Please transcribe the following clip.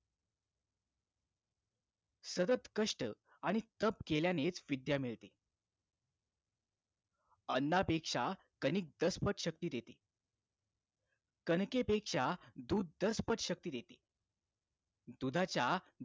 सतत कष्ट आणि तप केल्यानेच विद्या मिळते अन्ना पेक्षा कणिक दसपट शक्ती देते कणकेपेक्षा दूध दस पट शक्ति देते दुधाच्या